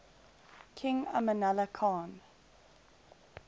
king amanullah khan